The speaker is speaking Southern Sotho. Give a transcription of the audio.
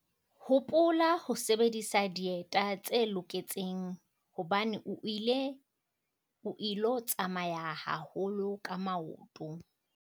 Hopola ho sebedisa dieta tse loketseng hobane o ilo tsamaya haholo ka maoto!